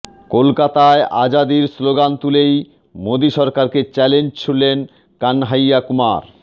কলকাতায় আজাদির স্লোগান তুলেই মোদি সরকারকে চ্যালেঞ্জ ছুড়লেন কানহাইয়া কুমার